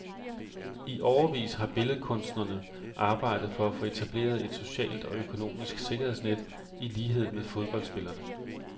I årevis har billedkunstnerne arbejdet for at få etableret et socialt og økonomisk sikkerhedsnet, i lighed med fodboldspillerne.